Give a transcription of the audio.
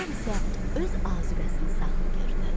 Şər isə öz azuqəsini saxlayırdı.